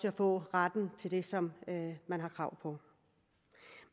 at få ret til det som man har krav på